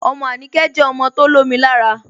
Ọmọ Anikẹ̀ jẹ ọmọ tó lọ̀mì làárà.